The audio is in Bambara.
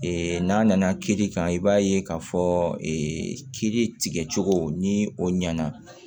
n'a nana kiiri kan i b'a ye k'a fɔ kiiri tigɛ cogo ni o ɲɛna